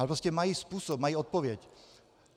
Ale prostě mají způsob, mají odpověď.